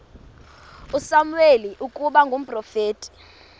usamuweli ukuba ngumprofeti